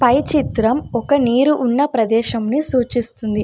పై చిత్రం ఒక నిరువున్న ప్రదేశంనీ సూచిస్తుంది.